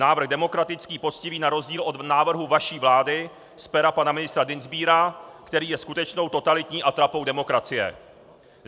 Návrh demokratický, poctivý, na rozdíl od návrhu vaší vlády z pera pana ministra Dienstbiera, který je skutečnou totalitní atrapou demokracie.